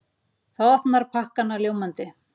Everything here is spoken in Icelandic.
Það opnar pakkana ljómandi.